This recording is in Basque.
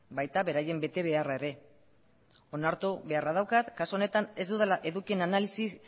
baita beraien betebeharra ere onartu beharra daukat kasu honetan ez dudala edukien analisi